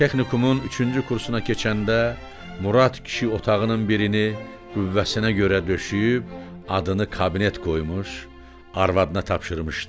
Texnikumun üçüncü kursuna keçəndə Murad kişi otağının birini qüvvəsinə görə döşəyib, adını kabinet qoymuş, arvadına tapşırmışdı.